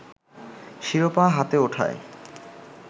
শিরোপা হাতে ওঠায়